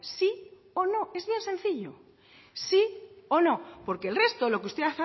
sí o no es bien sencillo sí o no porque el resto lo que usted